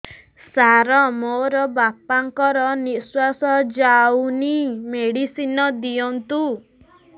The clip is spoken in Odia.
ସାର ମୋର ବାପା ଙ୍କର ନିଃଶ୍ବାସ ଯାଉନି ମେଡିସିନ ଦିଅନ୍ତୁ